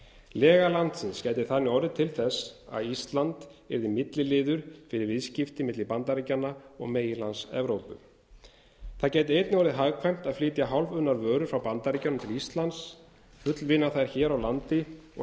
lega landsins gæti þannig orðið til þess að ísland yrði milliliður fyrir viðskipti milli bandaríkjanna og meginlands evrópu þá gæti einnig orðið hagkvæmt að flytja hálfunnar vörur frá bandaríkjunum til íslands fullvinna þær hér á landi og